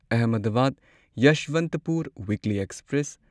Ahmedabad Yesvantpur weekly express